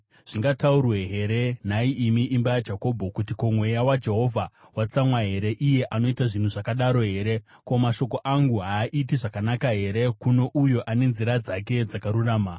Zvingataurwe here, nhai imi imba yaJakobho, kuti: “Ko, mweya waJehovha watsamwa here? Iye anoita zvinhu zvakadaro here?” “Ko, mashoko angu haaiti zvakanaka here kuno uyo ane nzira dzake dzakarurama?